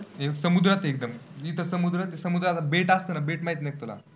समुद्रात आहेत एकदम, जिथं समुद्र, समुद्र समुद्रात बेट असतं ना? बेट माहीत नाही का तुला?